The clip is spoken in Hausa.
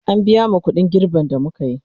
an biya mu ƙuɗin girben da mukayi